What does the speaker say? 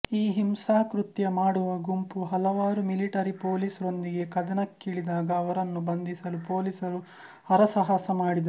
ಈ ಹಿಂಸಾಕೃತ್ಯ ಮಾಡುವ ಗುಂಪು ಹಲವಾರು ಮಿಲಿಟರಿ ಪೊಲೀಸ್ ರೊಂದಿಗೆ ಕದನಕ್ಕಿಳಿದಾಗ ಅವರನ್ನು ಬಂಧಿಸಲು ಪೊಲೀಸರು ಹರಸಾಹಸ ಮಾಡಿದರು